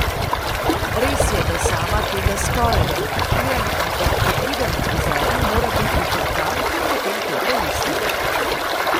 Res je, da sama tega skoraj, da ne kupujem, ampak ko pridem k frizerju mora biti to tam, ker potem to prelistam.